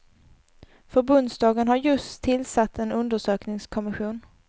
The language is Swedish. Förbundsdagen har just tillsatt en undersökningskommission.